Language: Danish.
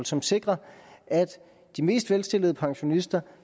som sikrer at de mest velstillede pensionister